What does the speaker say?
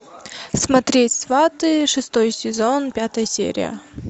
смотреть сваты шестой сезон пятая серия